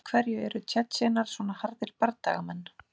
Af hverju eru Tsjetsjenar svona harðir bardagamenn?